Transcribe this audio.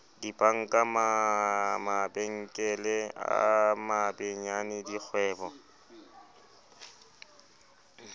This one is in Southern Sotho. dibanka mabenkele a mabenyane dikgwebo